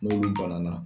N'olu bana na